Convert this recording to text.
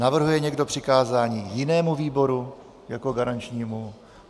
Navrhuje někdo přikázání jinému výboru jako garančnímu?